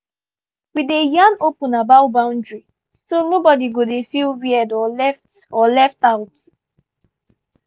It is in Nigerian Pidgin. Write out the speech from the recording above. we dey yarn open about boundary so nobody go dey feel weird or left or left out.